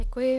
Děkuji.